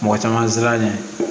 Mɔgɔ caman sera yen